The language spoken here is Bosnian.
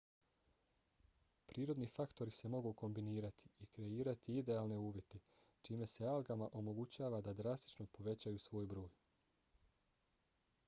prirodni faktori se mogu kombinirati i kreirati idealne uvjete čime se algama omogućava da drastično povećaju svoj broj